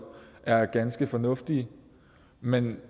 er ganske fornuftige men når